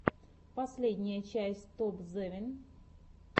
последняя часть топзевин